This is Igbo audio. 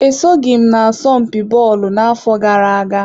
E soghị m n'asọmpi bọọlụ n'afọ gara aga.